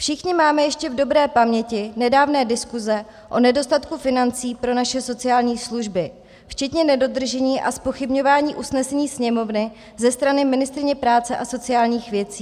Všichni máme ještě v dobré paměti nedávné diskuze o nedostatku financí pro naše sociální služby, včetně nedodržení a zpochybňování usnesení Sněmovny ze strany ministryně práce a sociálních věcí.